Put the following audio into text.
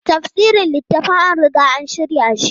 Tafsirin littafan an riga an shirya shi.